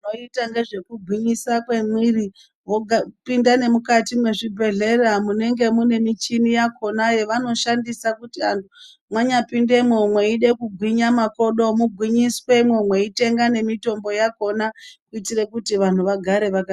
Vaiita ngezvekugwinyisa kwemwiri vopinda nemukati mezvibhedhlera munenge mune michini yakhona yevanoshandisa kuti vantu vanyapindemo eide kugwinya makodo mugwinyiswemo, mweitenga nemitombo yakhona kuitire kuti vantu vagare vakagwinya.